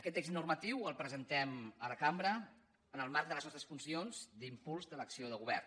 aquest text normatiu el presentem a la cambra en el marc de les nostres funcions d’impuls de l’acció de govern